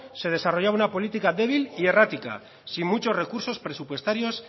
se desarrollaba una política débil y errática sin muchos recursos presupuestarios